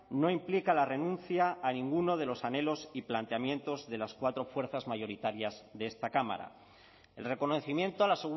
no implica la renuncia a ninguno de los anhelos y planteamientos de las cuatro fuerzas mayoritarias de esta cámara el reconocimiento a la